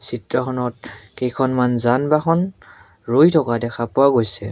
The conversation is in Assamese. চিত্ৰখনত কেইখনমান যান বাহন ৰৈ থকা দেখা পোৱা গৈছে।